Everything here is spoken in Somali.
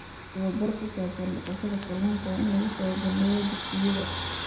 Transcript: Tababar ku saabsan dhaqashada kalluunka waa in lagu soo bandhigaa dugsiyada.